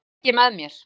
Það tek ég með mér.